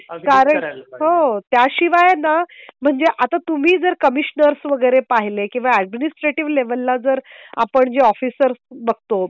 कारण हो त्याशिवाय ना म्हणजे आता तुम्ही जर कमिशनर्स वगैरे पाहिलं किंवा ॲडमिनिस्ट्रेटिव्हला जर आपण जी ऑफिसर बघतो.